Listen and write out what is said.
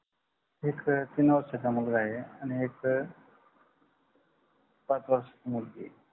एक तीन वर्षाचा मुलगा आहे आणि एक पाच वर्षाची मुलगी आहे